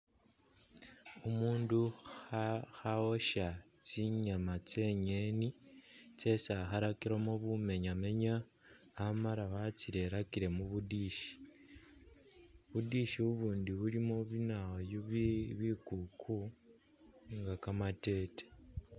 Umundu khawosha tsinyama tse'ngeni tsesi akhalakilemo bumenyamenya amala watsirerakile mubu dish, bu'dish ubundi bulimo binawoyu bi bikuku nga kamatete